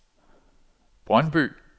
Brøndby